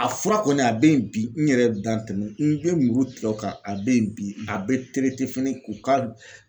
A fura kɔni ,a bɛ yen bi , n yɛrɛ da tɛmɛ n bɛ muru turu o kan, a bɛ yen bi a bɛ fana k'u ka